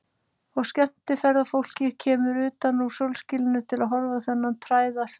Og skemmtiferðafólkið kemur utan úr sólskininu til að horfa á þennan tærða svip.